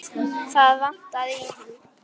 Það vantaði í hann.